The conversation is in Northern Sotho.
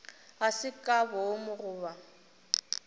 ga se ka boomo goba